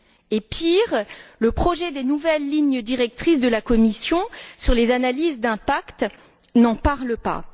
Et pire, le projet des nouvelles lignes directrices de la Commission sur les analyses d'impact n'en parle pas.